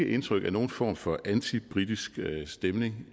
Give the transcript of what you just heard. indtryk af nogen form for antibritisk stemning